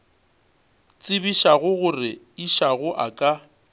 tsebišago gore išago a ka